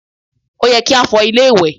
Ó yẹ kí á fọ ilé ìwẹ̀.